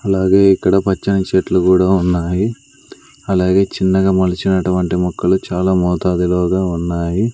అలాగే ఇక్కడ పచ్చని చెట్లు కూడా ఉన్నాయి అలాగే చిన్నగా మలిచినటువంటి మొక్కలు చాలా మోతాదులోగా ఉన్నాయి.